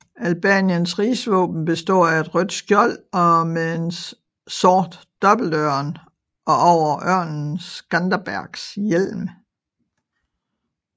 Albaniens rigsvåben består af et rødt skjold med en sort dobbeltørn og over ørnen Skanderbegs hjelm